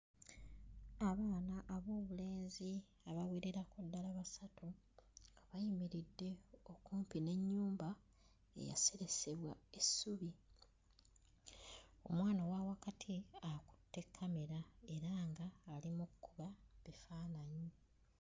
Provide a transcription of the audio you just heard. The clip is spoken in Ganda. Abaana ab'obulenzi abawererako ddala basatu nga bayimiridde okumpi n'ennyumba eyaseresebwa essubi. Omwana owa wakati akutte kkamera era nga ali mu kkuba bifaananyi.